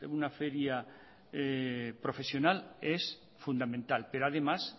una feria profesional es fundamental pero además